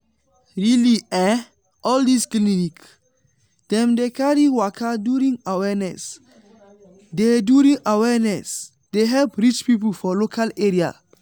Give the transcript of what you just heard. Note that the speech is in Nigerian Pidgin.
really eh all this clinic dem dey carry waka during awareness dey during awareness dey help reach people for local area.